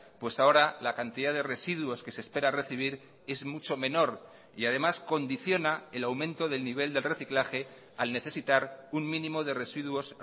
pues ahora la cantidad de residuos que se espera recibir es mucho menor y además condiciona el aumento del nivel del reciclaje al necesitar un mínimo de residuos